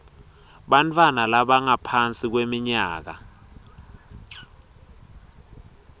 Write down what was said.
bantfwana labangaphansi kweminyaka